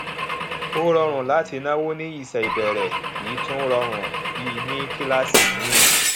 ọ rọrùn láti náwó ní iṣẹ ìbẹrẹ kì tún rọrùn bí ní kíláàsì míìn